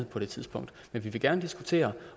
på det tidspunkt men vi vil gerne diskutere